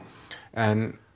en